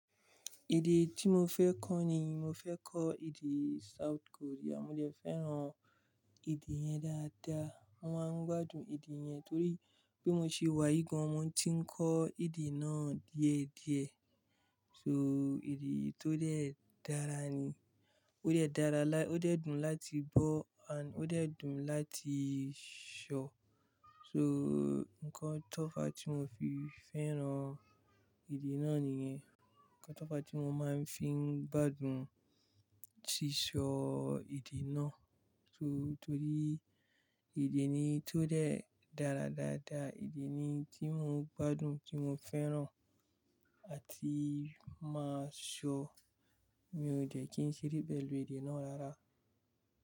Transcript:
Èdè tí mo fẹ́ kọ́ nìí, mo fẹ́ kọ́ èdè South Korea. Mo dẹ fẹ́ràn èdè yẹn dáadáa. Mo máa ń gbádùn èdè yẹn torí bi mo se wá yii gàn, mo ti ń kọ́ èdè náà díẹ̀ díẹ̀. So èdè tó dẹ́ dára ni. Ó dẹ́ dára, ó dẹ́ dùn láti gbọ́ and ó dẹ́ dùn láti ṣọ. So nnkan tó fá tí mo fi fẹ́ràn èdè náà nìyẹn. Nnkan tó fá tí mo máa ń fi gbádùn sísọ èdè náà. So torí èdè ni tó dẹ́ dára dáadáa, èdè ni tí mo gbádùn, tí mo fẹ́ràn àti máa ṣọ. Mi ò dẹ̀ kí n ṣere pẹ̀lú èdè náà rárá.